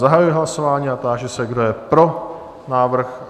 Zahajuji hlasování a táži se, kdo je pro návrh?